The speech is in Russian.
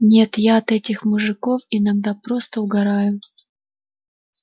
нет я от этих мужиков иногда просто угораю